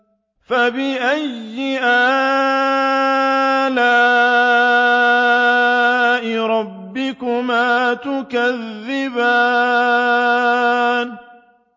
فَبِأَيِّ آلَاءِ رَبِّكُمَا تُكَذِّبَانِ